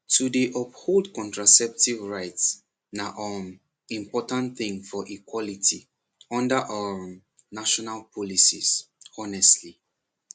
to dey uphold contraceptive rights na um important thing for equality under um national policies honestly